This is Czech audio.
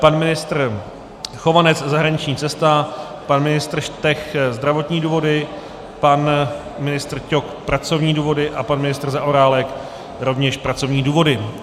Pan ministr Chovanec zahraniční cesta, pan ministr Štech zdravotní důvody, pan ministr Ťok pracovní důvody a pan ministr Zaorálek rovněž pracovní důvody.